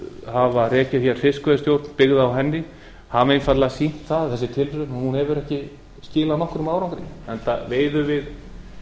hafa rekið hér fiskveiðistjórn byggða á henni hafa einfaldlega sýnt það þessi tilraun að hún hefur ekki skilað nokkrum árangri enda veiðum við